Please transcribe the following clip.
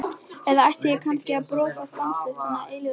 Eða ætti ég kannski að brosa stanslaust, svona eilífðarbrosi?